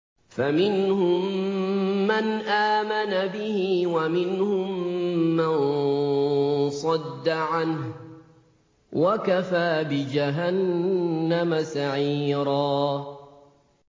فَمِنْهُم مَّنْ آمَنَ بِهِ وَمِنْهُم مَّن صَدَّ عَنْهُ ۚ وَكَفَىٰ بِجَهَنَّمَ سَعِيرًا